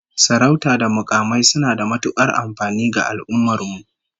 Sarautu da mukamai suna da matukar amfani ga al'ummar mu